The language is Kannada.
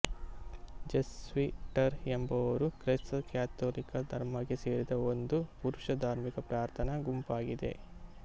ಜೆಸ್ವಿಟರು ಎಂಬುವವರು ಕ್ರೈಸ್ತ ಕಥೋಲಿಕ ಧರ್ಮಕ್ಕೆ ಸೇರಿದ ಒಂದು ಪುರುಷ ಧಾರ್ಮಿಕ ಪ್ರಾರ್ಥನಾ ಗುಂಪಾಗಿದೆ